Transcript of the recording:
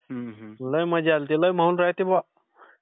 लय मजा आली होती. लय माहोल राहते बुवा.